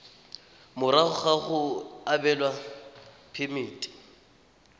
morago ga go abelwa phemiti